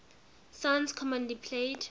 songs commonly played